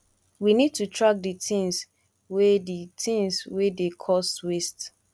we need to track di things wey di things wey dey cause waste